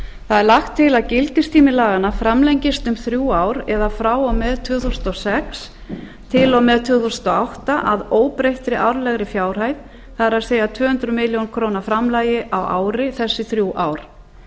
það er lagt til að gildistími laganna framlengist um þrjú ár eða frá og með tvö þúsund og sex til og með tvö þúsund og átta að óbreyttri árlegri fjárhæð það er tvö hundruð milljóna króna framlagi á ári þessi þrjú ár